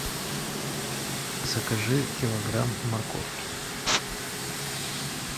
закажи килограмм морковки